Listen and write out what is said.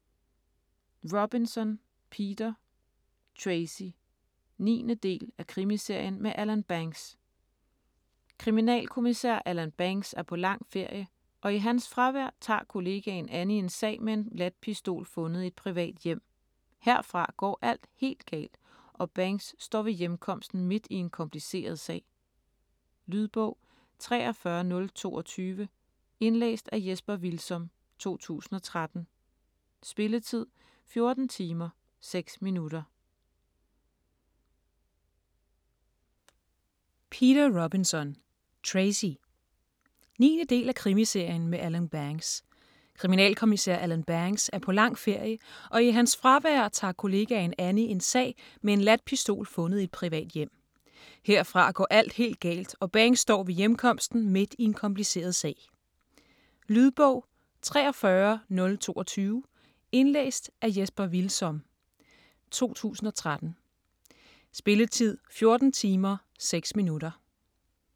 Robinson, Peter: Tracy 9. del af Krimiserien med Alan Banks. Kriminalkommissær Alan Banks er på lang ferie, og i hans fravær tager kollegaen Annie en sag med en ladt pistol fundet i et privat hjem. Herfra går alt helt galt, og Banks står ved hjemkomsten midt i en kompliceret sag. Lydbog 43022 Indlæst af Jesper Hvilsom, 2013. Spilletid: 14 timer, 6 minutter.